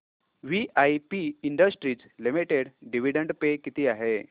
VIP industries limited dividend pay किती आहे